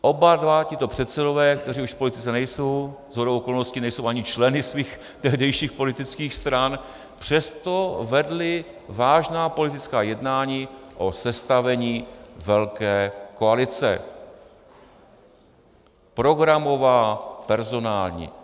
Oba dva tito předsedové, kteří už v politice nejsou, shodou okolností nejsou ani členy svých tehdejších politických strany, přesto vedli vážná politická jednání o sestavení velké koalice, programová, personální.